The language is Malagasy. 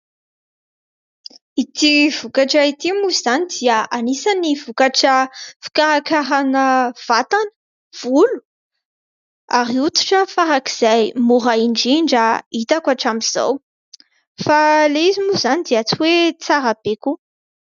Ity vokatra ity moa izany dia anisan'ny vokatra fikarakarana vatana, volo ary hoditra faran'izay mora indrindra hitako hatramin'izao, fa ilay izy moa izany dia tsy hoe tsara be koa.